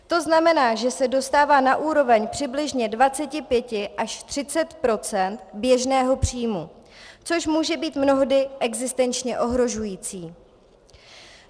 To znamená, že se dostává na úroveň přibližně 25 až 30 % běžného příjmu, což může být mnohdy existenčně ohrožující.